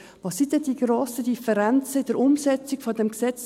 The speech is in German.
Was sind denn die grossen Differenzen in der Umsetzung des Gesetzes?